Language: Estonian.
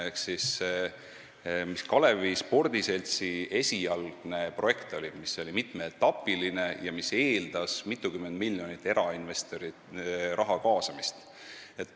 Ehk siis, Kalevi Spordiseltsi esialgne projekt oli mitmeetapiline ja see eeldas mitmekümne miljoni ulatuses erainvestori raha kaasamist.